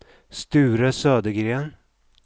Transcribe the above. Sture Södergren